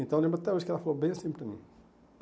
Então, eu lembro até hoje que ela falou bem assim para mim.